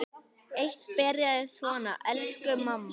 Eitt byrjaði svona: Elsku mamma!